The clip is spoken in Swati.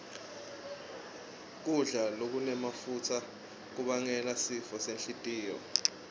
kudla lokunemafutsa kubangela sifo senhlitiyo